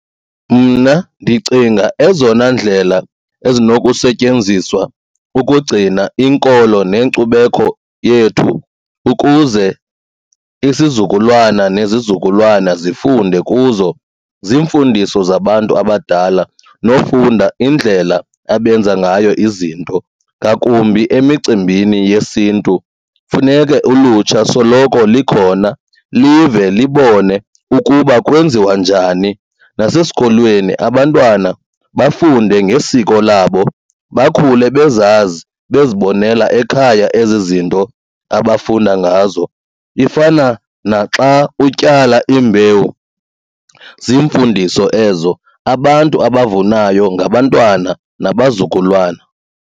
Mna ndicinga ezona ndlela ezinokusetyenziswa ukugcina inkolo nenkcubeko yethu ukuze isizukulwana nezizukulwana zifunde kuzo ziimfundiso kuba zabantu abadala nokufunda indlela abenza ngayo izinto. Ngakumbi emicimbini yesiNtu, funeke ulutsha soloko likhona live libone ukuba kwenziwa njani. Nasesikolweni abantwana bafunde ngesiko labo bakhule bezazi bezibonela ekhaya ezi zinto abafunda ngazo. Ifana naxa utyala imbewu ziimfundiso ezo, abantu abavunayo ngabantwana nabazukulwana.